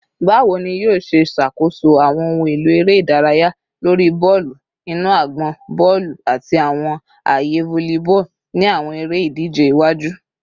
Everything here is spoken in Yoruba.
Bawo ni yoo ṣe ṣakoso awọn ohun elo ere idaraya lori bọọlu inu agbọn, bọọlu, ati awọn aaye volleyball ni awọn ere-idije iwaju?